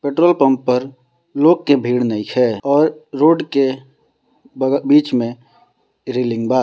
Petrol pump पर लोग के भीड़ नइखेऔर रोड के बगल बीच में रेलिंग बा ।